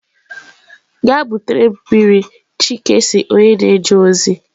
Gaa butere m mmiri chike si onye na-eje ozi.